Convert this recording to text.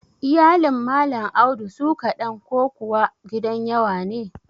Iyalin Malam Audu su ƙaɗan ko kuwa gidan yawa ne?